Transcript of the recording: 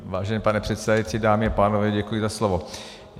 Vážený pane předsedající, dámy a pánové, děkuji za slovo.